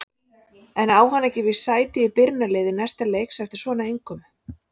En á hann ekki víst sæti í byrjunarliði næsta leiks eftir svona innkomu?